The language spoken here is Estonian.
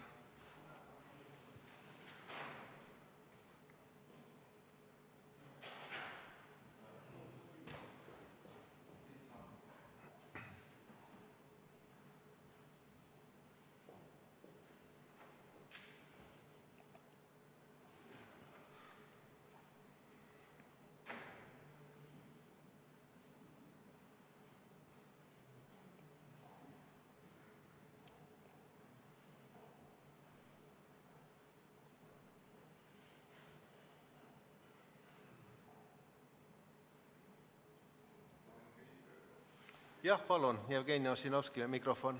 Jah, palun, Jevgeni Ossinovskile mikrofon.